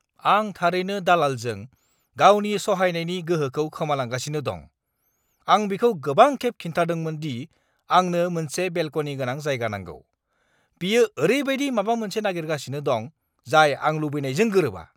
आं थारैनो दालालजों गावनि सहायनायनि गोहोखौ खोमालांगासिनो दं। आं बिखौ गोबां खेब खिन्थादोंमोन दि आंनो मोनसे बेलक'नि गोनां जायगा नांगौ। बियो ओरैबायदि माबा मोनसे नागिरगासिनो दं जाय आं लुबैनायजों गोरोबा।